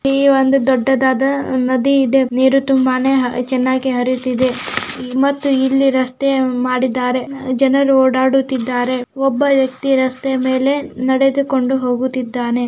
ಇಲ್ಲಿ ಒಂದು ದೊಡ್ಡದಾದ ನದಿ ಇದೆ ನೀರು ತುಂಬಾನೆ ಚನ್ನಾಗಿ ಹರಿಯುತ್ತಿದೆ ಮತ್ತು ಇಲ್ಲಿ ರಸ್ತೆಯ ಮಾಡಿದ್ದಾರೆ ಜನರು ಓಡಾಡುತ್ತಿದ್ದಾರೆ ಒಬ್ಬ ವ್ಯಕ್ತಿ ರಸ್ತೆ ಮೇಲೆ ನಡೆದುಕೊಂಡು ಹೋಗುತ್ತಿದ್ದಾನೆ.